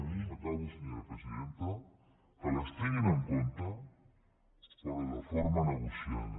acabo senyora presidenta que les tinguin compte però de forma negociada